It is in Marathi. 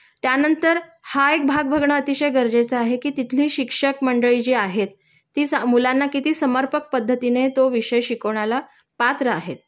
त्यानंतर हा एक भाग बघणं अतिशय गरजेचे आहे कि तिथली शिक्षक मंडळी जी आहेत ती सा मुलांना किती समर्पक पद्धतीने तो विषय शिकवण्याला पात्र आहेत